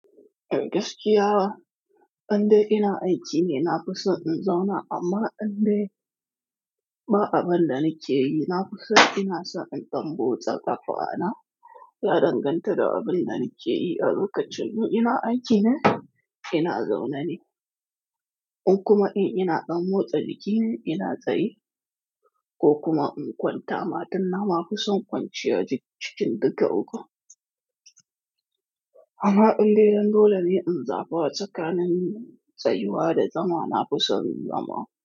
E gaskiya, an dai ina aiki ne na fi son in zauna amma in dai ba abin da na ke yi, na fi son ina son in dan motsa ƙafa na, ya danganta da abin da na ke yi. A lokacin mu ina aiki ne, ina zaune ne. In kuma in ina dan motsa jiki ne ina tsaye ko kuma in kwanta ma, don na ma fi son kwanciya duk cikin duka ukun. Amma indai don dole ne in zaba tsakanin tsayuwa da zama, na fi son zama.